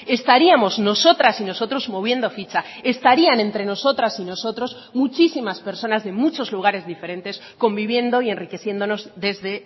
estaríamos nosotras y nosotros moviendo ficha estarían entre nosotras y nosotros muchísimas personas de muchos lugares diferentes conviviendo y enriqueciéndonos desde